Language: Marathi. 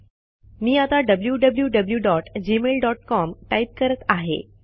मी आता wwwgmailcom टाईप करत आहे